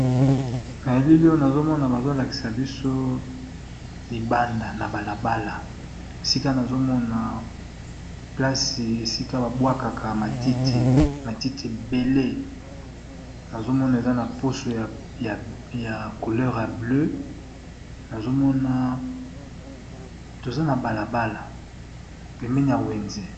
Na elili oyo nazo mona bazo lakisa biso libanda na balabala, esika nazo mona place esika ba bwakaka matiti ébélé. Nazo mona eza na pusu ya couleur ya bleue, nazo mona toza na balabala pembeni ya wenze .